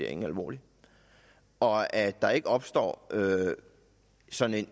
alvorligt og at der ikke opstår ja sådan